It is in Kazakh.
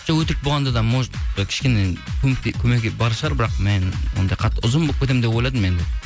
жоқ өтірік болғанда да может кішкене көмегі бар шығар бірақ мен ондай қатты ұзын болып кетемін деп ойладым енді